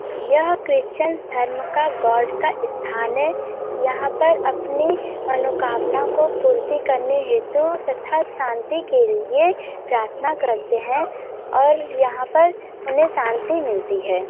यह क्रिश्चियन धर्म का गॉड का स्थान है | यहां पर अपनी मनोकामना को पूर्ति करने हेतु तथा शांति के लिए प्रार्थना करते हैं | और यहां पर उन्हें शांति मिलती है|